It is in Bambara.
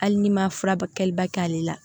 Hali ni ma fura ba kɛliba kɛ ale la